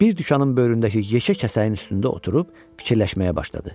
Bir dükanın böyründəki yekə kəsəyin üstündə oturub fikirləşməyə başladı.